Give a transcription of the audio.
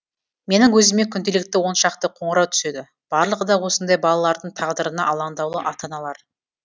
менің өзіме күнделікті он шақты қоңырау түседі барлығы да осындай балалардың тағдырына алаңдаулы ата аналар